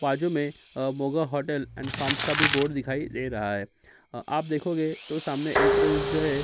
पाजू में अ Moga hotel and farms का भी बोर्ड दिखाई दे रहा है अं आप देखोगे तो सामने जो है --